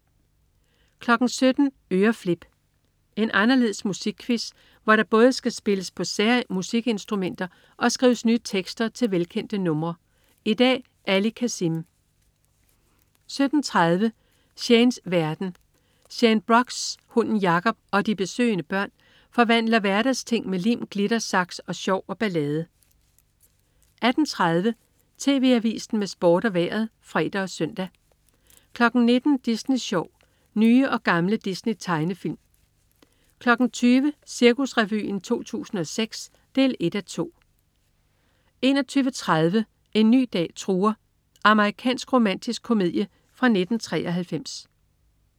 17.00 Øreflip. En anderledes musikquiz, hvor der både skal spilles på sære musikinstrumenter og skrives nye tekster til velkendte numre. I dag: Ali Kazim 17.30 Shanes verden. Shane Brox, hunden Jacob og de besøgende børn forvandler hverdagsting med lim, glitter, saks, sjov og ballade 18.30 TV Avisen med Sport og Vejret (fre og søn) 19.00 Disney Sjov. Nye og gamle Disney-tegnefilm 20.00 Cirkusrevyen 2006 1:2 21.30 En ny dag truer. Amerikansk romantisk komedie fra 1993